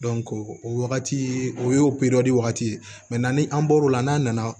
o wagati o ye wagati ye ni an bɔr'o la n'a nana